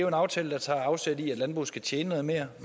en aftale der tager afsæt i at landbruget skal tjene noget mere